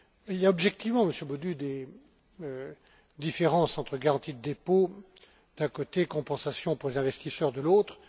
Il y a, objectivement, Monsieur Bodu, des différences entre garantie de dépôt d'un côté, compensation pour les investisseurs, de l'autre.